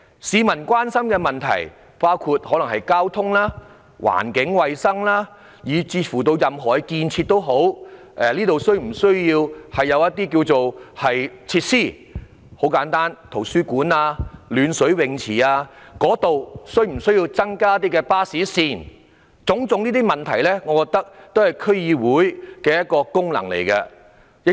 市民關心的議題包括交通、環境衞生以至任何建設，例如是否需要增加一些設施如圖書館和暖水泳池或是增加巴士線，這些都屬於區議會的功能。